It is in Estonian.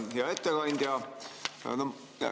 Hea ettekandja!